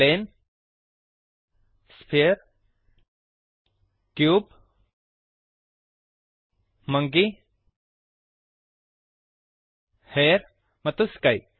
plane sphere cube monkey hair ಮತ್ತು sky